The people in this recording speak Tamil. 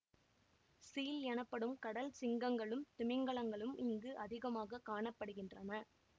சீல் எனப்படும் கடல் சிங்கங்களும் திமிங்கலங்களும் இங்கு அதிகமாக காண படுகின்றன